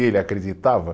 E ele acreditava.